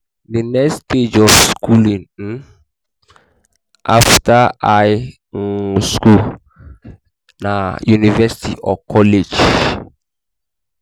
the next stage of schooling um um after high um school na university or college um